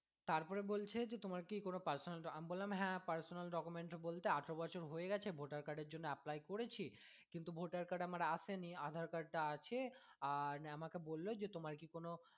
তারপরে বলছে যে তোমার কি কোনো personal আমি বললাম personal document বলতে আঠেরো বছর হয়ে গেছে voter card এর জন্য apply করেছি কিন্তু voter card আমার আসেনি আধার card আছে আর আমাকে বললো যে তোমার কি কোনো